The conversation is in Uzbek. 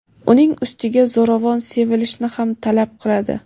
uning ustiga zo‘ravon sevilishni ham talab qiladi.